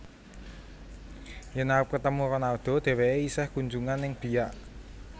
Yen arep ketemu Ronaldo dheweke isih kunjungan ning Biak